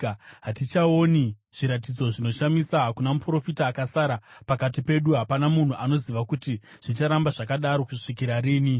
Hatichaoni zviratidzo zvinoshamisa; hakuna muprofita akasara, pakati pedu hapana munhu anoziva kuti zvicharamba zvakadaro kusvikira rini.